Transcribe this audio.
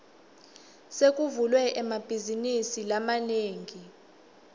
sekuvulwe emabhazinisi lamanengi